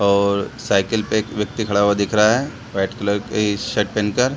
और साइकिल पे एक व्यक्ति खड़ा हुआ दिख रहा है वाइट कलर के शर्ट पेहेन कर |